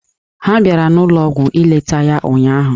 Ha bịara n'ụlọọgwụ ileta ya ụnyaahụ.